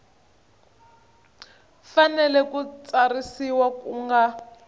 fanele ku tsarisiwa ku nga